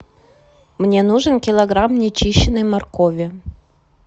мне нужен килограмм нечищеной моркови